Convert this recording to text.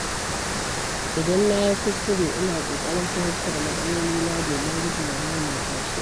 Idan na yi kuskure, ina ƙoƙarin fahimtar matsalolina domin guje wa maimaita shi.